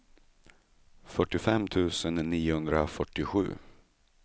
fyrtiofem tusen niohundrafyrtiosju